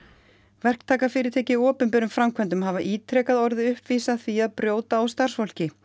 verktakafyrirtæki í opinberum framkvæmdum hafa ítrekað orðið uppvís að því að brjóta á starfsfólki